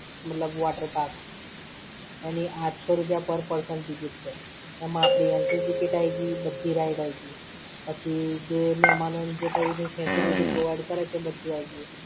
મતલબ water park ની આંઠસો રૂપિયા per person ticket છે. એમાં આપણી entry ticket આયી ગઈ, બધી ride આયી ગઈ. પછી જે મહેમાનોને જે કંઈ બી facility provide કરે છે બધું આઈ ગયું.